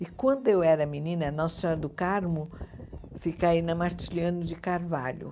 E quando eu era menina, Nossa Senhora do Carmo fica aí na Martiliano de Carvalho.